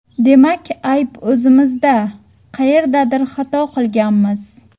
Demak ayb o‘zimizda: qayerdadir xato qilganmiz”.